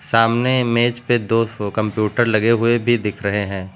सामने मेज पे दो ठो कंप्यूटर लगे हुए भी दिख रहे हैं।